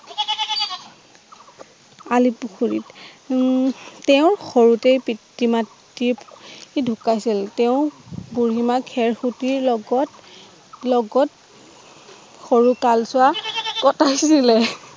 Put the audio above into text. আলিপুখুৰী উমম তেওঁৰ সৰুতেই পিতৃ মাতৃ ঢুকাইছিল তেওঁ বুঢ়ীমাক খেৰখুতীৰ লগত লগত সৰু কালছোৱা কটাইছিলে